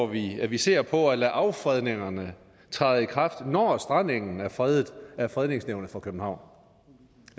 vi at vi ser på at lade affredningerne træde i kraft når strandengen er fredet af fredningsnævnet for københavn